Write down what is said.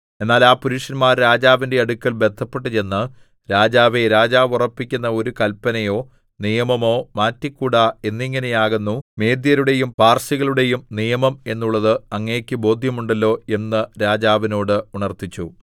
എന്നാൽ ആ പുരുഷന്മാർ രാജാവിന്റെ അടുക്കൽ ബദ്ധപ്പെട്ടു ചെന്ന് രാജാവേ രാജാവു ഉറപ്പിക്കുന്ന ഒരു കല്പനയോ നിയമമോ മാറ്റിക്കൂടാ എന്നിങ്ങനെയാകുന്നു മേദ്യരുടെയും പാർസികളുടെയും നിയമം എന്നുള്ളത് അങ്ങേക്ക് ബോദ്ധ്യമുണ്ടല്ലോ എന്ന് രാജാവിനോട് ഉണർത്തിച്ചു